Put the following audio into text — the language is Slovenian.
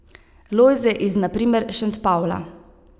Lojze iz na primer Šentpavla.